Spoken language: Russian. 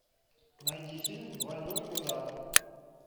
найди фильм двойной удар